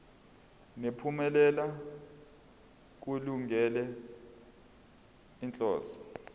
nemiphumela kulungele inhloso